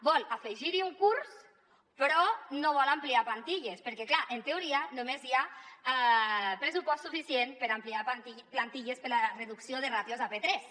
vol afegir·hi un curs però no vol ampliar plantilles perquè clar en teoria només hi ha pressupost suficient per ampliar plantilles per a la reducció de ràtios a p3